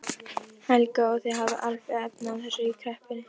Helga: Og þið hafið alveg efni á þessu í kreppunni?